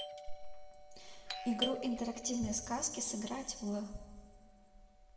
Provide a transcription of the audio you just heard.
игру интерактивные сказки сыграть в